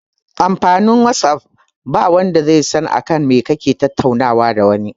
Amfanin whatsapp ba wanda zai san akan me kake tattaunawa da wani